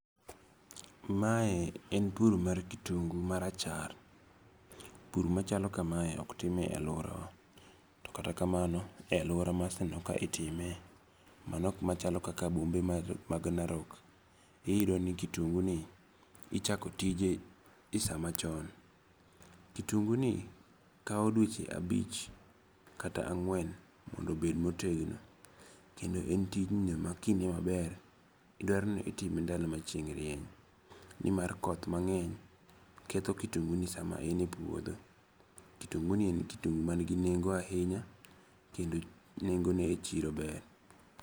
Mae en pur mar kitungu marachar. Pur machalo kamae ok time aluora wa. To kata kamano e aluora maseneno ka itime mano kuma chalo kaka bombe mag Narok iyudo ni kitungu ni ichako tije e sa machon. Kitungu ni kaw dueche abich kata ang'wen mondo bed motegno. Kendo en tijno ma ki ing'iyo maber idwaro ni itime ndalo ma chieng' rieny. Nimar koth mang'eny ketho kitungu ni sama en e puodho. Kitungu ni en kitungu man gi nengo ahinya. Kendo nengo ne e chiro ber.